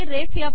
ते रेफ